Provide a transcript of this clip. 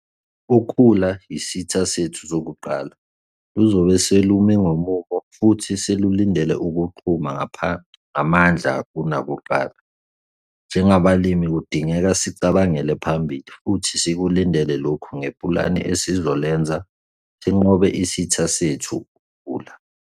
Ukhula yisitha sethu sokuqala, luzobe selumi ngomumo futhi selulindele ukuqhuma ngamandla kunakuqala. Njengabalimi kudingeka sicabangele phambili futhi sikulundele lokhu ngepulane esizolenza sinqobe isitha sethu, ukhula.